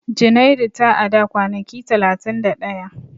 Junairu ta a da kwanaki talatin da ɗaya.